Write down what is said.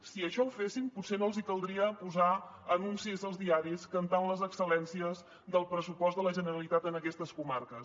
si això ho fessin potser no els caldria posar anuncis als diaris cantant les excel·lències del pressupost de la generalitat en aquestes comarques